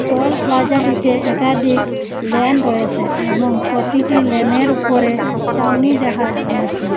টল প্লাজাটিতে একাধিক ল্যান রয়েসে এবং প্রতিটি ল্যানের উপরে চাউনি দেখা যাচ্ছে।